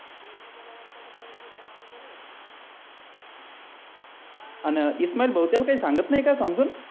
आणि इस्माईल भाऊ त्याला काही सांगत नाही का समजून